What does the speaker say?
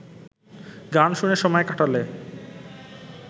গান শুনে সময় কাটালে